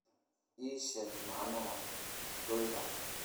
ii sheeg macnaha broiler